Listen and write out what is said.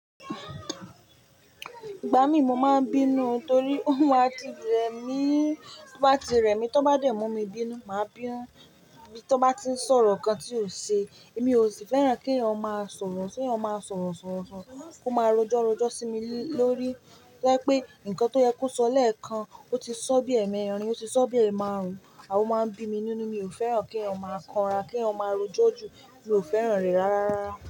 Ìgbà mí mo máa ń bínú torí ó máa ti rẹ̀ mí, tó bá ti rẹ̀ mí, tó bá dé mú mi bínú, màá bínu. Bí tó bá ti ń sọ̀rọ̀ ǹkan tí ò ṣe, èmi ò sì fẹ́ràn kí ọ máa sọ̀rọ̀, kí ọ máa sọ̀rọ̀ sọ̀rọ̀, kó máa rojọ́ rojọ́ sí mi lórí to ba pé ǹkan tó yẹ kó sọ lẹ́ẹ̀kan ó ti sọ bí ẹ̀mẹ́rin, ó ti sọ bí ẹ̀máarun, a ó máa ń bí mi nínú. Èmi ò fẹ́ràn kí ọ máa kanra, kí ọ máa rojọ́ jù, mi ò fẹ́ràn rẹ̀ rárá.